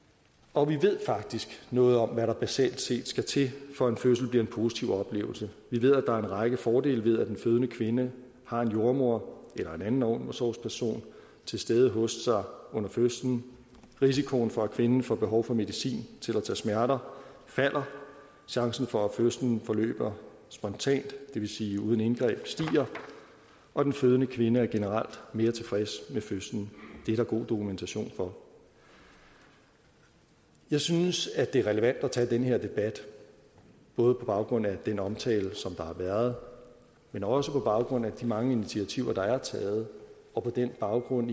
og vi ved faktisk noget om hvad der basalt set skal til for at en fødsel bliver en positiv oplevelse vi ved at der er en række fordele ved at den fødende kvinde har en jordemoder eller en anden omsorgsperson til stede hos sig under fødslen risikoen for at kvinden får behov for medicin til at tage smerter falder chancen for at fødslen forløber spontant det vil sige uden indgreb stiger og den fødende kvinde er generelt mere tilfreds med fødslen det er der god dokumentation for jeg synes at det er relevant at tage den her debat både på baggrund af den omtale der har været men også på baggrund af de mange initiativer der er taget og på baggrund